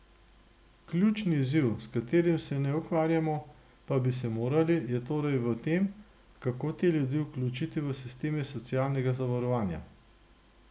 Ključni izziv, s katerim se ne ukvarjamo, pa bi se morali, je torej v tem, kako te ljudi vključiti v sisteme socialnega zavarovanja.